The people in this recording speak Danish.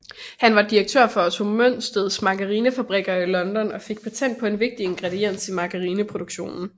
Han var direktør for Otto Mønsteds Margarinefabrikker i London og fik patent på en vigtig ingrediens i margarineproduktionen